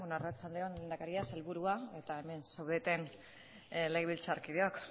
arratsalde on lehendakaria sailburua eta hemen zaudeten legebiltzarkideok